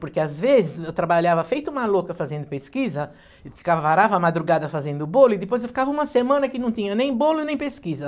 Porque, às vezes, eu trabalhava feito uma louca fazendo pesquisa, e ficava varava a madrugada fazendo bolo, e depois eu ficava uma semana que não tinha nem bolo, nem pesquisa.